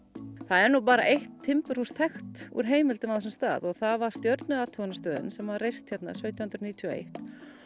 það er nú bara eitt timburhús þekkt úr heimildum á þessum stað og það var stjörnuathuganastöðin sem var reist hér sautján hundruð níutíu og eitt